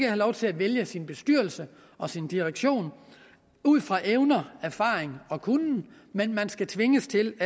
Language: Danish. have lov til at vælge sin bestyrelse og sin direktion ud fra evner erfaring og kunnen men skal tvinges til